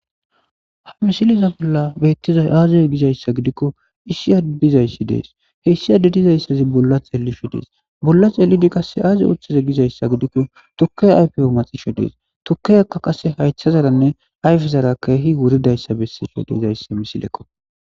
Ha misileza bolla beettizay aaze gizayssa gidikko issiadde dizayssi dees issi addezikka bolla xeellishe dees. bolla xeellidi qassi aazi oothize gizayssa gidikkotukke haythe maxishe dees. tukkeyakka qasse ayfezara haythezara keehi wuridayssa bessees.